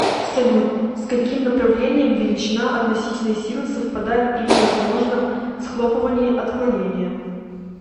салют с каким направлением величина относительной силы совпадает при возможном схлопывании отклонения